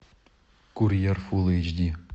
курьер фул эйч ди